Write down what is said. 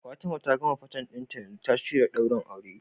Fatima ta gama Fatten dinta yanzu ta shirya daurin aure